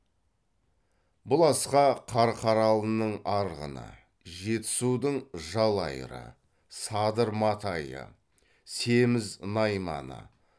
бұл асқа қарқаралының арғыны жетісудың жалайыры садыр матайы семіз найманы